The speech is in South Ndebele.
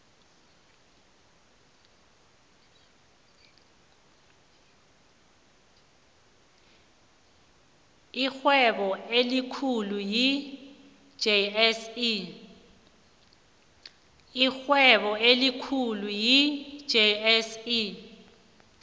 irhwebo elikhulu yi jse